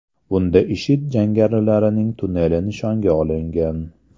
Bunda IShID jangarilarining tunneli nishonga olingan.